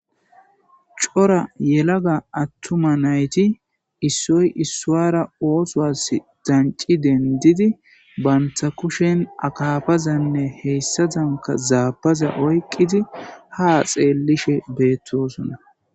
cora yelaga attuma nayti issoy issuara oothoas danci dendidi banta kushen akafazanne heyssa danka zaabaza oyqqidi ha xeellishe beettosona